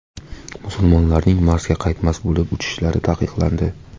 Musulmonlarning Marsga qaytmas bo‘lib uchishlari taqiqlandi.